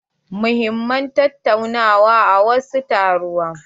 An muhimman tataunawa a wasu taruwa.